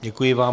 Děkuji vám.